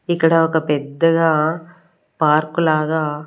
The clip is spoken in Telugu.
ఇక్కడ ఒక పెద్దగా పార్కు లాగా.